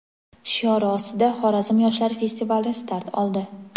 shiori ostida Xorazm yoshlari festivali start oldi.